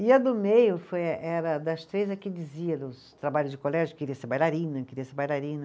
E a do meio foi, era das três a que dizia nos trabalhos de colégio, queria ser bailarina, queria ser bailarina.